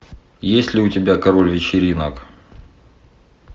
есть ли у тебя король вечеринок